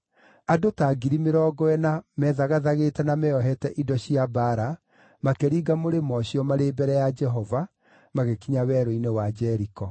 Andũ ta 40,000 methagathagĩte na meeohete indo cia mbaara makĩringa mũrĩmo ũcio, marĩ mbere ya Jehova, magĩkinya werũ-inĩ wa Jeriko.